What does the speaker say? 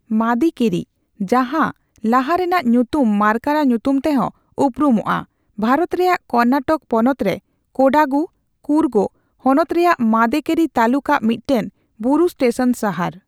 ᱢᱟᱫᱤᱠᱮᱨᱤ, ᱡᱟᱦᱟᱸ ᱞᱟᱦᱟᱨᱮᱱᱟᱜ ᱧᱩᱛᱩᱢ ᱢᱟᱨᱠᱟᱨᱟ ᱧᱩᱛᱩᱢᱛᱮᱦᱚᱸ ᱩᱯᱨᱩᱢᱚᱜᱼᱟ, ᱵᱷᱟᱨᱚᱛ ᱨᱮᱭᱟᱜ ᱠᱚᱨᱱᱟᱴᱚᱠ ᱯᱚᱱᱚᱛᱨᱮ ᱠᱳᱰᱟᱜᱩ(ᱠᱩᱨᱜᱚ) ᱦᱚᱱᱚᱛ ᱨᱮᱭᱟᱜ ᱢᱟᱫᱤᱠᱮᱨᱤ ᱛᱟᱞᱩᱠᱟᱜ ᱢᱤᱫᱴᱮᱱ ᱵᱩᱨᱩ ᱥᱴᱮᱥᱚᱱ ᱥᱟᱦᱟᱨ ᱾